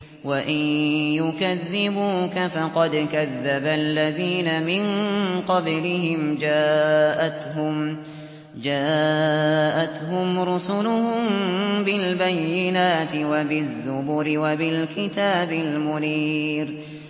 وَإِن يُكَذِّبُوكَ فَقَدْ كَذَّبَ الَّذِينَ مِن قَبْلِهِمْ جَاءَتْهُمْ رُسُلُهُم بِالْبَيِّنَاتِ وَبِالزُّبُرِ وَبِالْكِتَابِ الْمُنِيرِ